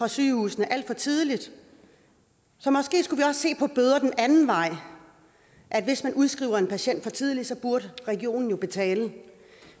sygehusene alt for tidligt så måske skulle vi også se på bøder den anden vej hvis man udskriver en patient for tidligt burde regionen jo betale